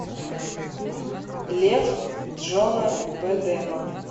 лев джона бэдэма